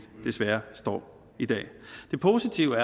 desværre står i dag det positive